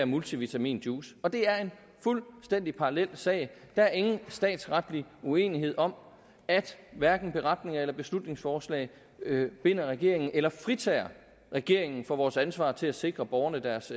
multivitaminjuice og det er en fuldstændig parallel sag der er ingen statsretlig uenighed om at hverken beretninger eller beslutningsforslag binder regeringen eller fritager regeringen for vores ansvar til at sikre borgerne deres